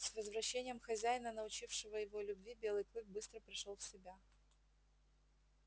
с возвращением хозяина научившего его любви белый клык быстро пришёл в себя